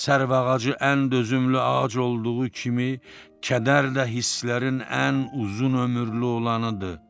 Sərvağacı ən dözümlü ağac olduğu kimi, kədər də hisslərin ən uzun ömürlü olanıdır.